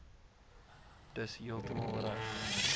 dis heeltemal reg